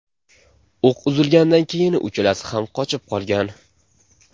O‘q uzilganidan keyin uchalasi ham qochib qolgan.